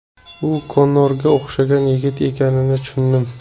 U Konorga o‘xshagan yigit ekanini tushundim.